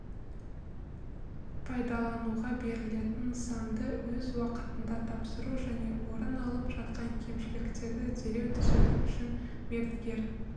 пайдалануға берілетін нысанды өз уақытында тапсыру және орын алып жатқан кемшіліктерді дереу түзету үшін мердігер